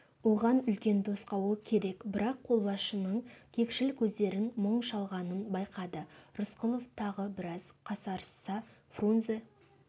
оған үлкен тосқауыл керек бірақ қолбасшының кекшіл көздерін мұң шалғанын байқады рысқұлов тағы біраз қасарысса фрунзе